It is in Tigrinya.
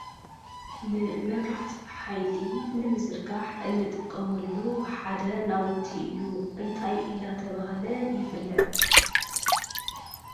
ንመብራህቲ ኃይሊ ንምዘርጋሕ እንጥቀመሉ ሓደ ናውቲ እዩ እንታይ አናተብሃለ ይፍለጥ::